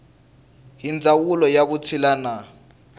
hi ndzawulo ya vutshila na